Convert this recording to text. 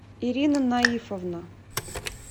ирина наифовна